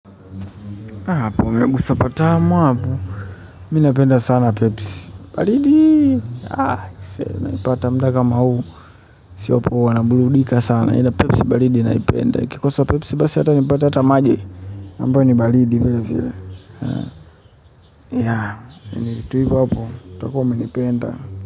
Hapo umegusa patamu hapo, mimi napenda sana pepsi baridi. Naipata muda kama huu sio poa naburudika sana ila pepsi baridi naipenda nikikosa pepsi basi hata nipata hata maji ambayo ni baridi vile vile yaani tu hivo, hapo utakuwa umenipenda.